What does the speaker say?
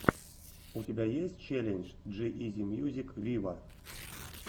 у тебя есть челлендж джи изи мьюзик виво